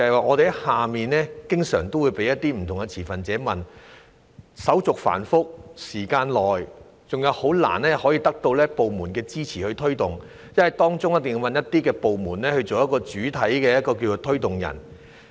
我們在外面經常會被不同持份者追問......手續繁複、需時長、以及難以得到部門支持推動政策，因為一定要找一些部門作政策的主體推動人。